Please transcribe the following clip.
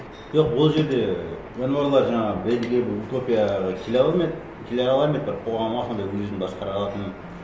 жоқ ол жерде жануарлар жаңағы белгілі бір утопияға келе алар ма еді келе алар ма еді бір қоғамға сондай өзін басқара алатын